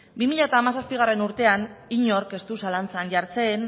bi mila hamazazpigarrena urtean inork ez du zalantzan jartzen